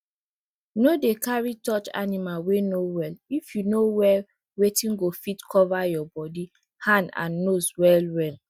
no dey carry touch animal wey no well if you no wear weyth go fit cover your body hand and nose well well